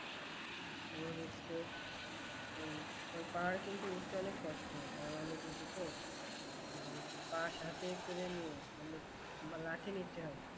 তোমার হচ্ছে ওই পাহাড়ে উঠতে কিন্তু অনেক কষ্ট হয় অনেক উঁচু তো বাঁশ হাতে করে নিয়ে মানে বা লাঠি নিতে হয়